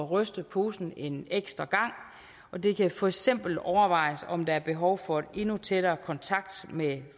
ryste posen en ekstra gang og det kan for eksempel overvejes om der er behov for en endnu tættere kontakt med